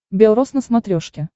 бел рос на смотрешке